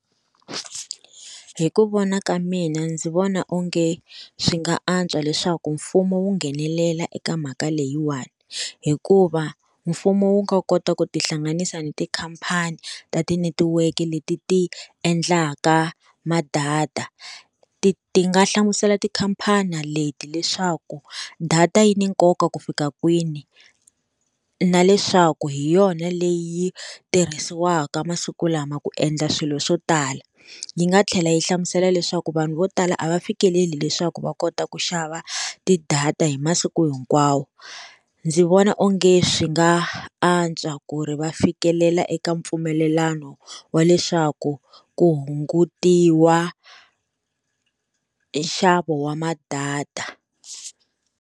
Hi ku vona ka mina ndzi vona onge, swi nga antswa leswaku mfumo wu nghenelela eka mhaka leyiwani. Hikuva mfumo wu nga kota ku tihlanganisa ni tikhampani ta ti netiweke leti ti endlaka madata. Ti ti nga hlamusela tikhampani leti leswaku, data yi ni nkoka ku fika kwini, na leswaku hi yona leyi yi tirhisiwaka masiku lama ku endla swilo swo tala. Yi nga tlhela yi hlamusela leswaku vanhu vo tala a va fikeleli leswaku va kota ku xava tidata hi masiku hinkwawo. Ndzi vona onge swi nga antswa ku ri va fikelela eka mpfumelelano wa leswaku ku hungutiwa nxavo wa madata.